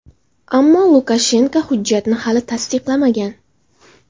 Ammo Lukashenko hujjatni hali tasdiqlamagan.